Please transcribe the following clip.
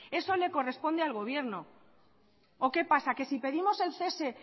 eso le corresponde al gobierno o que pasa que si pedimos el cese